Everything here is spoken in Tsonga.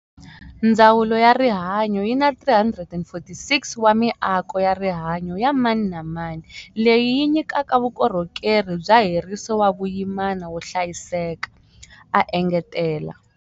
Ndzawulo ya Rihanyo yi na 346 wa miako ya rihanyo ya mani na mani, leyi yi nyikaka vukorhokeri bya heriso wa vuyimana wo hlayiseka, a engetela.